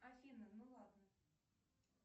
афина ну ладно